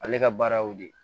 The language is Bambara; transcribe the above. Ale ka baara y'o de ye